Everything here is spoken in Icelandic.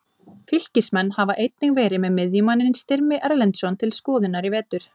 Fylkismenn hafa einnig verið með miðjumanninn Styrmi Erlendsson til skoðunar í vetur.